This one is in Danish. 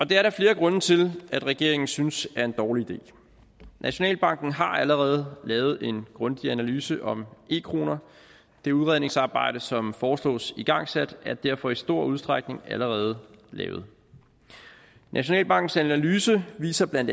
der er flere grunde til at regeringen synes er en dårlig idé nationalbanken har allerede lavet en grundig analyse om e kroner det udredningsarbejde som foreslås igangsat er derfor i stor udstrækning allerede lavet nationalbankens analyse viser bla